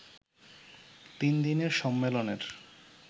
তিন দিনের সম্মেলনের